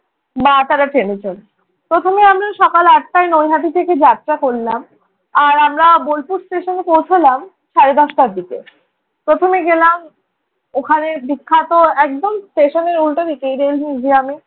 মা তারা ট্রেনে চড়ল। প্রথমে আমরা সকাল আটটায় নৈহাটি থেকে যাত্রা করলাম, আর আমরা বোলপুর স্টেশনে পৌছালাম সাড়ে দশটার দিকে। প্রথমে গেলাম ওখানের বিখ্যাত একদম স্টেশন উল্টা দিকে গ্রামে।